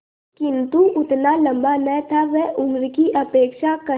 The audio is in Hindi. किंतु उतना लंबा न था वह उम्र की अपेक्षा कहीं